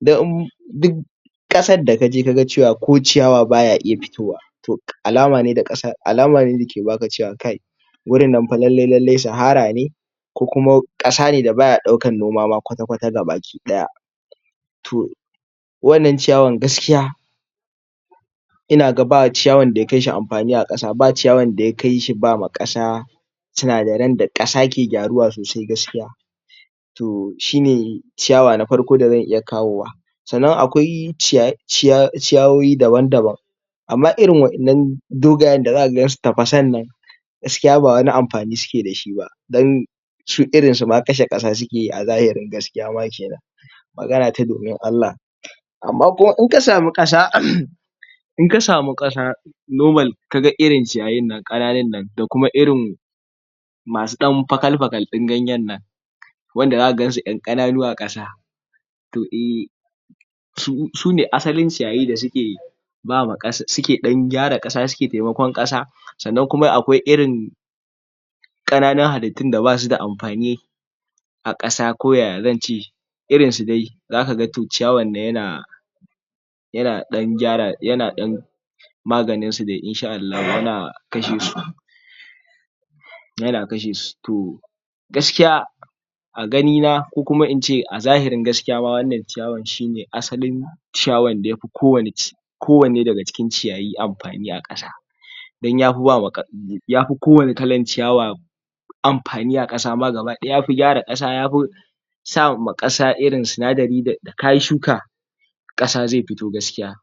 dan duk ƙasan da ka je kaga cewa ko ciyawa baya iya fitowa to alama ne da ke baka cewa kai wurin nan fa lallai lallai sahara ne ko kuma ƙasa ne da baya ɗaukan noma ma kwata-kwata gabakiɗaya to wannan ciyawan gaskiya ina ga ba ciyawan da ya kai shi amfani a ƙasa, ba ciyawan da ya kai shi bama ƙasa sinadaren da ƙasa ke gyaruwa sosai gaskiya to shine ciyawa na farko da zan iya kawowa sannan akwai ciyayoyi daban-daban amma irin waƴannan dogayen da zaka gan su tafasan nan gaskiya ba wani amfani suke da shi ba shi irin su ma kashe ƙasa suke yi a zahirin gaskiya ma kenan magana ta domin Allah amma kuma in ka samu ƙasa in ka samu ƙasa normal kaga irin ciyayin nan ƙananun nan da kuma irin masu ɗan fakal-fakal ɗin ganyen nan wanda zaka gan su ƴan ƙananu a ƙasa to eh, su ne asalin ciyayi da suke bama ƙasa, suke ɗan gyara ƙasa, suke taimakon ƙasa sannan kuma akwai irin ƙananun halittun da basu da amfani a ƙasa ko ya zan ce irin su dai zaka ga to ciyawan nan yana yana ɗan gyara yana ɗan maganin su dai insha'allahu yana kashe su yana kashe su to gaskiya a gani na ko kuma ince a zahirin gaskiya ma wannan ciyawan shi ne asalin ciyawan da yafi kowani ci kowanne daga cikin ciyayi amfani a ƙasa dan yafi bama, yafi ko wani kalan ciyawa amfani a ƙasa ma gabaɗaya yafi gyara ƙasa, yafi sa ma ƙasa irin sinadari da kayi shuka ƙasa zai fito gskiya.